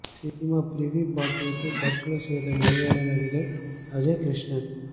cinema preview பார்த்துவிட்டு தற்கொலை செய்த மலையாள நடிகர் அஜய் கிருஷ்ணன்